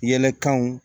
Yɛlɛkanw